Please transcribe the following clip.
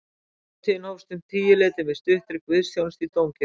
Hátíðin hófst um tíuleytið með stuttri guðsþjónustu í dómkirkjunni